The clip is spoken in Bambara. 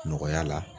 Nɔgɔya la